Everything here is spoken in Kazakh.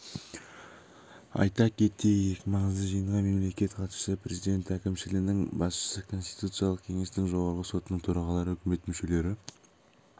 айта кетейік маңызды жиынға мемлекеттік хатшысы президент әкімшілінің басшысы конституциялық кеңестің жоғарғы сотының төрағалары үкімет мүшелері